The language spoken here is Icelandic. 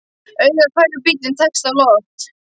Augað hverfur, bíllinn tekst á loft.